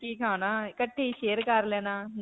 ਕੇ ਖਾਣਾ, ਇਕੱਠੇ ਹੀ share ਕਰ ਲੈਣਾ.